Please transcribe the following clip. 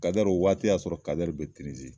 Kadɛri o waati y'a sɔrɔ kadɛri be tinizi